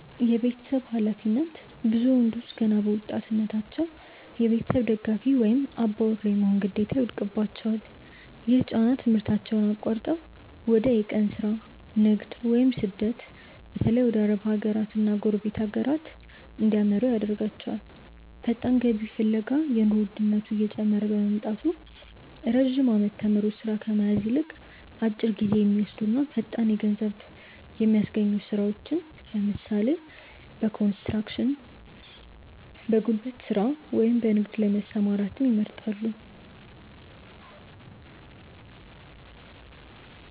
የቤተሰብ ኃላፊነት፦ ብዙ ወንዶች ገና በወጣትነታቸው የቤተሰብ ደጋፊ ወይም "አባወራ" የመሆን ግዴታ ይወድቅባቸዋል። ይህ ጫና ትምህርታቸውን አቋርጠው ወደ የቀን ሥራ፣ ንግድ ወይም ስደት (በተለይ ወደ አረብ ሀገራትና ጎረቤት ሀገራት) እንዲያመሩ ያደርጋቸዋል። ፈጣን ገቢ ፍለጋ፦ የኑሮ ውድነቱ እየጨመረ በመምጣቱ፣ ረጅም ዓመታት ተምሮ ሥራ ከመያዝ ይልቅ፣ አጭር ጊዜ በሚወስዱና ፈጣን ገንዘብ በሚያስገኙ ሥራዎች (ለምሳሌ፦ በኮንስትራክሽን፣ በጉልበት ሥራ ወይም በንግድ) ላይ መሰማራትን ይመርጣሉ።